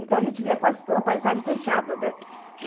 Então, a gente via quase toda a paisagem fechada, né?